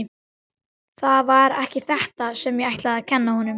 Það var ekki þetta sem ég ætlaði að kenna honum.